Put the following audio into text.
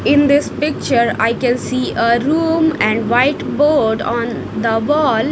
In this picture I can see a room and white board on the wall.